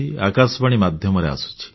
ଆକାଶବାଣୀ ମାଧ୍ୟମରେ ଆସୁଛି